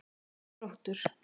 Þróttur